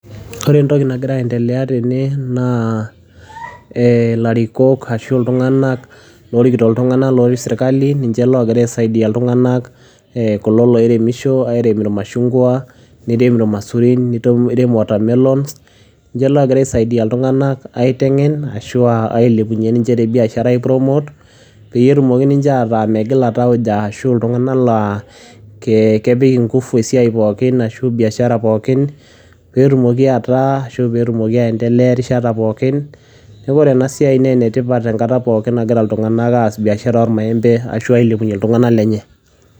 Ore entoki nagira aiendelea tene, naa ilarikok ashu iltung'anak, lorikito iltung'anak lotii serkali, ninche logira aisaidia iltung'anak, kulo loiremisho airem irmashungwa, nirem irmaisurin, nirem watermelons, ninche logira aisaidia iltung'anak aiteng'en, ashua ailepunye ninche tebiashara ai promote, peyie etumoki ninche ataa megila tauja, ashu iltung'anak laa kepik inkufu esiai pookin, ashu biashara pookin, petumoki ataa, ashu petumoki aendelea erishata pookin, neku ore enasiai nenetipat enkata pookin nagira iltung'anak aas biashara ormaembe ashu ailepunye iltung'anak lenye.